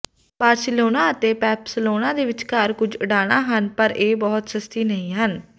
Barcelona ਅਤੇ Pamplona ਦੇ ਵਿਚਕਾਰ ਕੁਝ ਉਡਾਣਾਂ ਹਨ ਪਰ ਇਹ ਬਹੁਤ ਸਸਤੀ ਨਹੀਂ ਹਨ